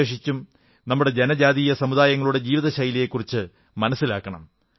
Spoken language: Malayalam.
വിശേഷിച്ച് നമ്മുടെ ജനജാതീയസമുദായങ്ങളുടെ ജീവിതശൈലിയെക്കുറിച്ചു മനസ്സിലാക്കണം